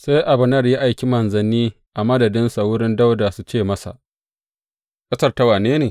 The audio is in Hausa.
Sai Abner ya aiki manzanni a madadinsa wurin Dawuda su ce masa, Ƙasar ta wane ne?